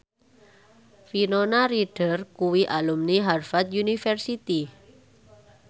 Winona Ryder kuwi alumni Harvard university